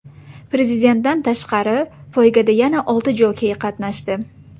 Prezidentdan tashqari, poygada yana olti jokey qatnashdi.